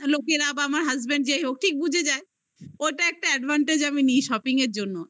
আমার husband যেই হোক ঠিক বুঝে যায় ওটা একটা advantage আমি নেই shopping এর জন্য